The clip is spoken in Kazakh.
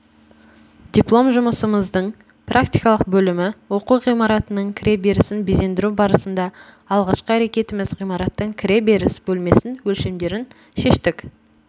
диплом жұмысымыздың практикалық бөлімі оқу ғимаратының кіре берісін безендіру барысында алғашқы әрекетіміз ғимараттың кіре беріс бөлмесін өлшемдерін шештік